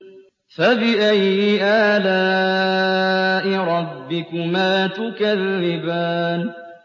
فَبِأَيِّ آلَاءِ رَبِّكُمَا تُكَذِّبَانِ